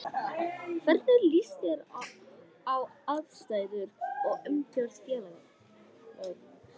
Hvernig líst þér á aðstæður og umgjörð félagsins?